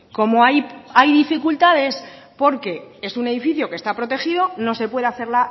como hay dificultades porque es un edificio que está protegido no se puede hacer